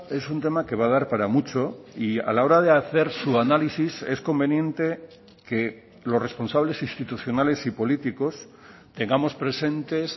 es un tema que va a dar para mucho y a la hora de hacer su análisis es conveniente que los responsables institucionales y políticos tengamos presentes